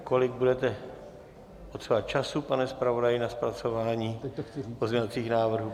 Kolik budete potřebovat času, pane zpravodaji, na zpracování pozměňovacích návrhů?